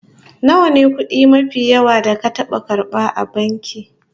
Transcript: Nawa ne kudi mafi yawa da ka taba karba a banki?